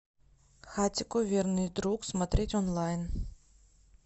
хатико верный друг смотреть онлайн